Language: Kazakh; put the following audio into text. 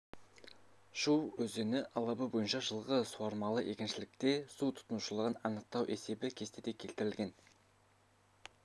шу өзені алабы бойынша жылғы суармалы егіншілікте су тұтынушылығын анықтау есебі кестеде келтірілген